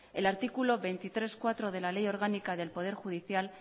el artículo veintitrés punto cuatro de la ley orgánica del poder judicial